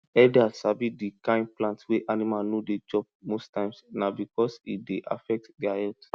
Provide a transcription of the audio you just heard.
herders sabi di kind plant wey animal no dey chop most times na because e dey affect dia health